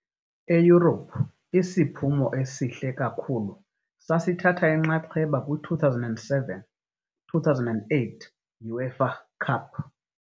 EYurophu isiphumo esihle kakhulu sasithatha inxaxheba kwi- 2007-2008 UEFA Cup .